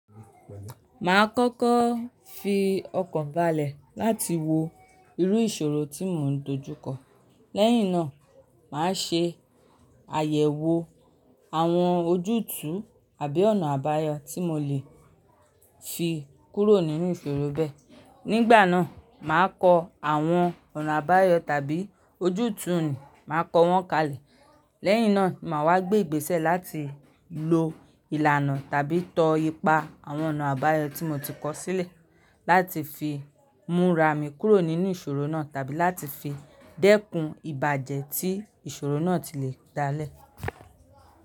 Màá kọ́kọ́ fi ọkàn balẹ̀ láti wo irú ìṣòro tí mò ń dojú kọ. Lẹ́yìn náà, màá ṣe àyẹ̀wò àwọn ojútùú àbí ọ̀nà àbáyọ tí mò lè fi kúrò nínú ìṣòro bẹ́ẹ̀. Nígbà náà, màá kọ àwọn ọ̀nà àbáyọ tàbí ojútùú, màá kọ wọ́n kalẹ̀. Lẹ́yìn náà, màá wá gbé ìgbésẹ̀ láti lo ìlànà tàbí tọ ipa àwọn ọ̀nà àbáyọ tí mò ti kọ̀ sílẹ̀ láti fi múra mi kúrò nínú ìṣòro náà tàbí láti fi dẹ́kun ìbàjẹ́ tí ìṣòro náà ti lè dá lẹ̀.